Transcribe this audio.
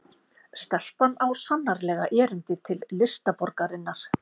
Stelpan á sannarlega erindi til listaborgarinnar